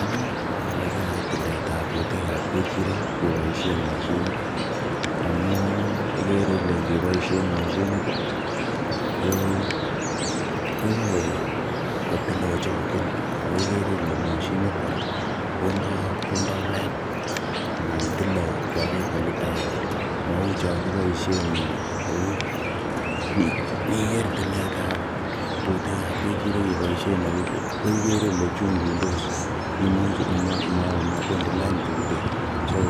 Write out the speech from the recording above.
Anee ogoegoe tiletab butek ab ng'echirek keboisien moshinit amun ikere ile ngeboisyen moshinit ih koyoe kotil kochokyin amun ikere ile moshinit kora kondoo lain ana tile kwo levolilit agenge mou chon kiboisien eut, niker tiletab butek ab ng'echirek keboisien eut ko ikere ile chunchundos imuche mobendii lain butek so